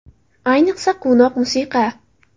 Ayniqsa, quvnoq musiqa.